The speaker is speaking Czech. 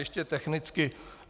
Ještě technicky.